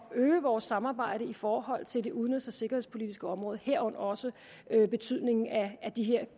at øge vores samarbejde i forhold til det udenrigs og sikkerhedspolitiske område herunder også betydningen af de her